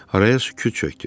Haraya sükut çökdü.